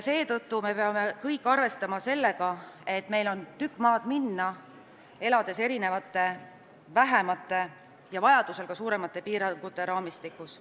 Seetõttu peame kõik arvestama sellega, et meil on tükk maad minna, elades erinevate väiksemate ja vajadusel ka suuremate piirangute raamistikus.